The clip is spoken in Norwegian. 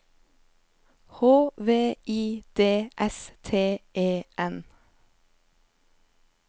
H V I D S T E N